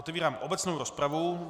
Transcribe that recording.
Otevírám obecnou rozpravu.